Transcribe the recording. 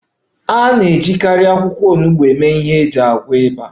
A na-ejikarị akwụkwọ onugbo eme ihe iji gwọọ ịba